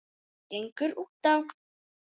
gengur útá?